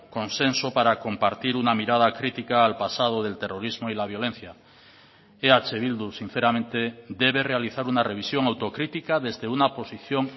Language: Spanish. consenso para compartir una mirada crítica al pasado del terrorismo y la violencia eh bildu sinceramente debe realizar una revisión autocrítica desde una posición